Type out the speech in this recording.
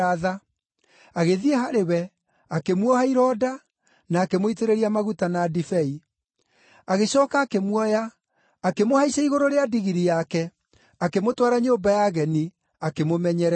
Agĩthiĩ harĩ we, akĩmuoha ironda, na akĩmũitĩrĩria maguta na ndibei. Agĩcooka akĩmuoya, akĩmũhaicia igũrũ rĩa ndigiri yake, akĩmũtwara nyũmba ya ageni, akĩmũmenyerera.